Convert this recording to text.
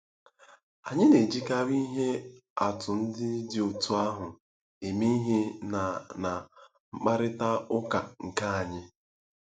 Anyị na-ejikarị ihe atụ ndị dị otú ahụ eme ihe ná ná mkparịta ụka nke anyị.